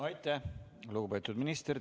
Aitäh, lugupeetud minister!